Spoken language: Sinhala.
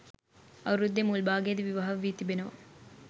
අවුරුද්දේ මුල් භාගයේදී විවාහ වී තිබෙනවා